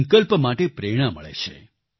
સંકલ્પ માટે પ્રેરણા મળે છે